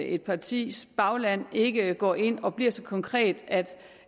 et partis bagland ikke går ind og bliver så konkret at